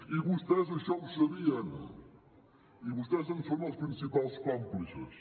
i vostès això ho sabien i vostès en són els principals còmplices